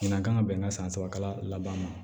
Ɲinan kan ka bɛn ka san sabakala ban